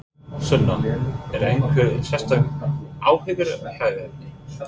Sunna: Eru einhver sérstök áhyggjuefni?